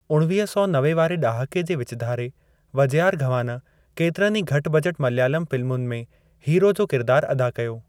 उणवीह सौ नवे वारे ॾहाके जे विचु धारे वजयारघवान केतिरनि ई घटि बजेट मलयालम फ़िलमुनि में हीरो जो किरिदारु अदा कयो।